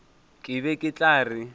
ke be ke tla re